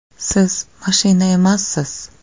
Siz mashina emassiz!